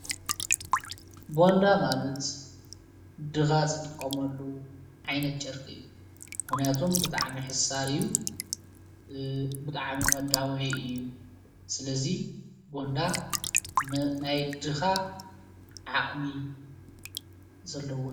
ቦንዳ ማለት ድኻ ዝጥቆመሉ ዓይነት ጨርቂ እዩ፡፡ ምኽንያቱም ብጣዕሚ ሕሳር እዩ፡፡ ብጣዕ ሚ መዳወይ እዩ፣ ስለዙይ ቦንዳ ናይ ድኻ ዓቕሚ ዘለዎ እዩ፡፡